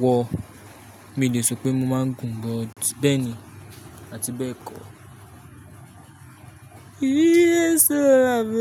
wọ. Mi ò lè sọ pé mo máa ń gun, but bẹ́ẹ̀ ni, àti bẹ́ẹ̀ kọ́.